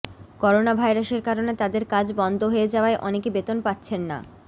corona ভাইরাসের কারণে তাদের কাজ বন্ধ হয়ে যাওয়ায় অনেকে বেতন পাচ্ছেন না